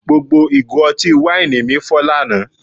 Gbogbo ìgò ọtí wáìnì mi fọ́ lánàá